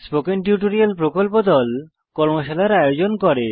spoken tutorial প্রকল্প দল কর্মশালার আয়োজন করে